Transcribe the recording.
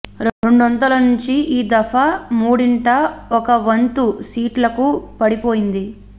రెండొంతుల నుంచి ఈ దఫా మూడింట ఒక వంతు సీట్లకు పడిపోయింది